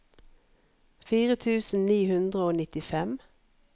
fire tusen ni hundre og nittifem